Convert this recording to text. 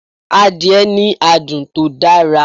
Adìẹ ní adùn tó dára